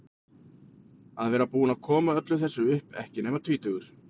Að vera búinn að koma öllu þessu upp, ekki nema tvítugur.